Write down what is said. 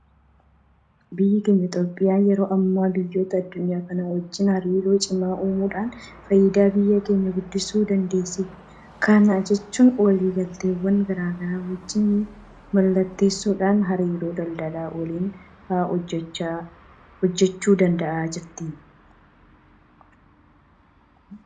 Biyyi keenya Itoophiyaan yeroo ammaa biyyoota addunyaa kanaa wajjin hariiroo cimaa uumuudhaan faayidaa biyya kanaa guddisuu dandeesseetti. Kana jechuun walii galteewwan garaa garaa wajjin mallatteessuudhaan hariiroo daldala waliinii fa'aa hojjechuu danda'aa jirti.